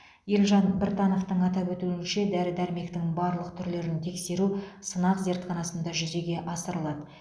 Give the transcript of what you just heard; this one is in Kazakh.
елжан біртановтың атап өтуінше дәрі дәрмектің барлық түрлерін тексеру сынақ зертханасында жүзеге асырылады